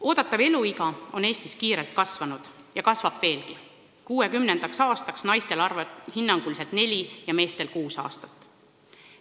Eeldatav eluiga on Eestis kiirelt kasvanud ja kasvab veelgi: 2060. aastaks naistel hinnanguliselt neli ja meestel kuus aastat.